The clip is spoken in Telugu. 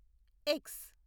ఎక్స్